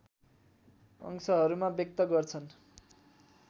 अंशहरूमा व्यक्त गर्छन्